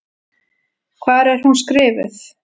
Hvar er hún skrifuð?